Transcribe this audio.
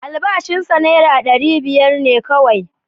Albashin sa naira ɗari biyar ne kauwai